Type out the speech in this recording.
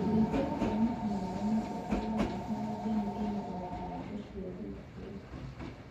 ũrĩithi wa thamakĩ na maĩ matheru ũrabatara ndemu ina uhoti wa guciarithia